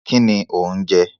Kínni ò ń jẹ?